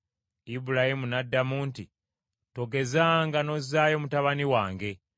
Ibulayimu n’addamu nti, “Togezanga n’ozzaayo mutabani wange.